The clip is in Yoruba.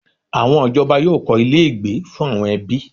Àwọn ìjọba yóò kọ́ ilé-ìgbé fún àwọn ẹbí.